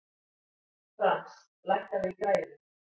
Frans, lækkaðu í græjunum.